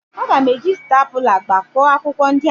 M ga-eji stapula gbakọọ akwụkwọ ndị ahụ.